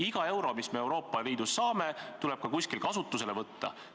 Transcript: Iga euro, mis me Euroopa Liidust saame, tuleb kuskil kasutusele võtta.